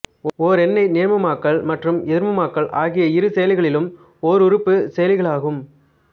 ஓர் எண்ணை நேர்மமாக்கல் மற்றும் எதிர்மமாக்கல் ஆகிய இரு செயலிகளும் ஓருறுப்புச் செயலிகளாகும்